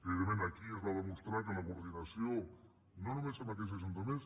evidentment aquí es va demostrar que la coordinació no només amb aquells ajuntaments